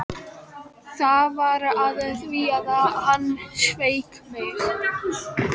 Það var af því að hann sveik mig.